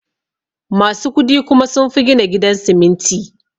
Musu kudi kuma sunfi gina gidan siminti